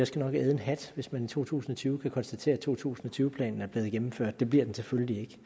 skal æde en hat hvis man i to tusind og tyve kan konstatere at to tusind og tyve planen er blevet gennemført det bliver den selvfølgelig